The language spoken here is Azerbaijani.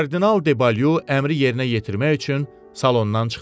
Kardinal debalyu əmri yerinə yetirmək üçün salondan çıxdı.